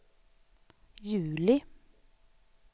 juli